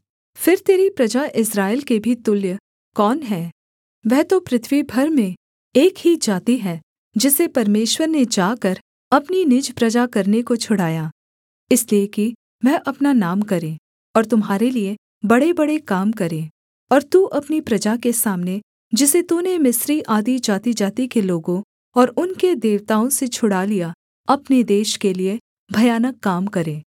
फिर तेरी प्रजा इस्राएल के भी तुल्य कौन है वह तो पृथ्वी भर में एक ही जाति है जिसे परमेश्वर ने जाकर अपनी निज प्रजा करने को छुड़ाया इसलिए कि वह अपना नाम करे और तुम्हारे लिये बड़ेबड़े काम करे और तू अपनी प्रजा के सामने जिसे तूने मिस्री आदि जातिजाति के लोगों और उनके देवताओं से छुड़ा लिया अपने देश के लिये भयानक काम करे